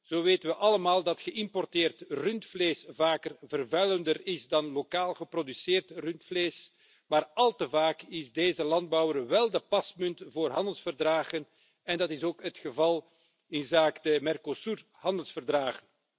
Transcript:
Zo weten we allemaal dat geïmporteerd rundvlees vaker vervuilender is dan lokaal geproduceerd rundvlees, maar al te vaak is de landbouwer pasmunt voor handelsverdragen en dat is ook het geval inzake Mercosur handelsverdragen.